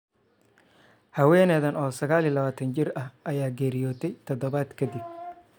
Haweeneydan oo 29 jir ah ayaa geeriyootay toddobaad kadib.